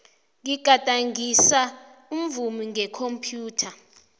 ngigadangisa umvumo ngekhomphyutha